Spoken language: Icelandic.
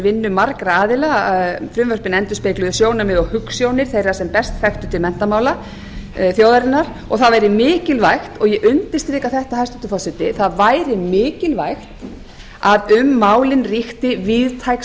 vinnu margra aðila frumvörpin endurspegluðu sjónarmið og hugsjónir þeirra sem best þekktu til menntamála þjóðarinnar og það væri mikilvægt og ég undirstrika þetta hæstvirtur forseti það væri mikilvægt að um málin ríkti víðtæk